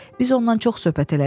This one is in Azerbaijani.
Biz onunla çox söhbət elədik.